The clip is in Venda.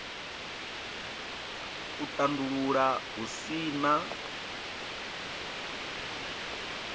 u tandulula hu si na